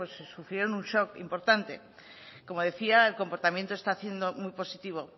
sufrieron un shock importante como decía el comportamiento está siendo muy positivo